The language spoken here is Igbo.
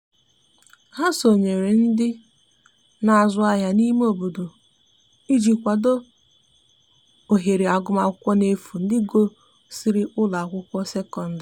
ha sonyere ndi n'azu ahia n'ime obodo iji kwado ohere agụma akwụkwo n'efu ndi gusiri ụlọ akwụkwo sekọndrị